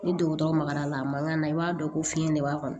Ni dɔgɔtɔrɔ magara la a man kan i b'a dɔn ko fiɲɛ de b'a kɔnɔ